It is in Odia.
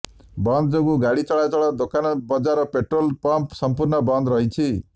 ବନ୍ଦ ଯୋଗୁଁ ଗାଡି ଚଳାଚଳ ଦୋକାନ ବଜ଼ାର ପେଟ୍ରୋଲ ପମ୍ପ ସମ୍ପୂର୍ଣ ବନ୍ଦ ରହିଛି